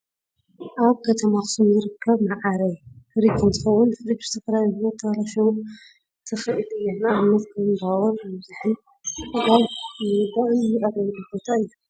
ኣብ ከተማ ኣክሱም ዝርከብ መዓረይ ፍርጅ እንትከውን፣ ፍርጅ ብዝተፈላለዩ ምክንያታት ተባላሸው ትክእል እያ ንኣብነት ከም ባወር ምብዛሕን ጋዝ ምውዳእን ዝዕረየሉ ቦታ እዩ።